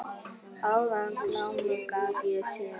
Áðan glámu gat ég séð.